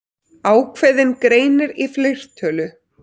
Ákveðinn greinir í fleirtölu.